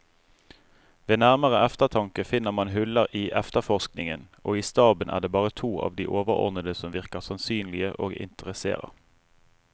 Ved nærmere eftertanke finner man huller i efterforskningen, og i staben er det bare to av de overordnede som virker sannsynlige og interesserer.